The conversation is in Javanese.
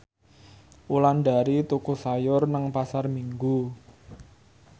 Wulandari tuku sayur nang Pasar Minggu